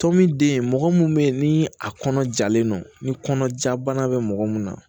Tɔn min den mɔgɔ minnu bɛ yen ni a kɔnɔ jalen don ni kɔnɔ ja bana bɛ mɔgɔ mun na